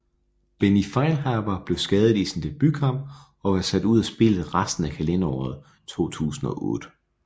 Benny Feilhaber blev skadet i sin debutkamp og var sat ud af spillet resten af kalenderåret 2008